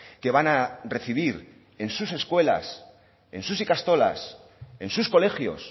que van a recibir en sus escuelas en sus ikastolas en sus colegios